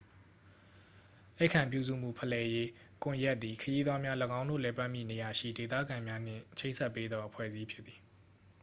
ဧည့်ခံပြုစုမှု ဖလှယ်ရေး ကွန်ရက်သည် ခရီးသွားများ ၎င်းတို့ လည်ပတ်မည့် နေရာရှိ ဒေသခံများနှင့် ချိတ်ဆက်ပေးသော အဖွဲ့အစည်းဖြစ်သည်